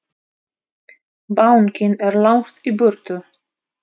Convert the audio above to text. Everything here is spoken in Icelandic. Bankinn er langt í burtu.